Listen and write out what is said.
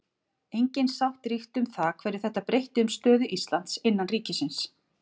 Engin sátt ríkti um það hverju þetta breytti um stöðu Íslands innan ríkisins.